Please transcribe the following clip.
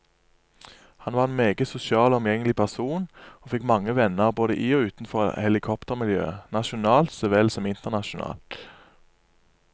Han var en meget sosial og omgjengelig person, og fikk mange venner både i og utenfor helikoptermiljøet, nasjonalt så vel som internasjonalt.